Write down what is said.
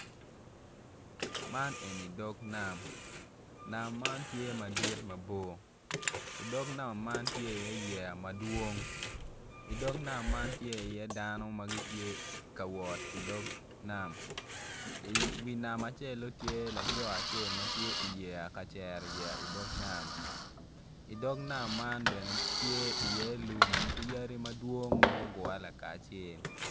Man en ni dog nam, nam man tye madit mabor idog man tye i iye yeya madwong idog yeya man tye i iye dano ma gitye ka wot idog nam i wi nam acel-lun tye laco acel ma tye i yeya kacero yeya idog nam i dog nam bene tye lum ki yadi madwong ma gugure laka acel